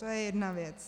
To je jedna věc.